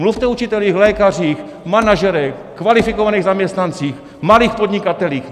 Mluvte o učitelích, lékařích, manažerech, kvalifikovaných zaměstnancích, malých podnikatelích!